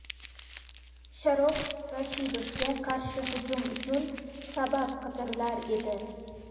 Sharof Rashidovga qarshi hujum uchun sabab qidirilar edi.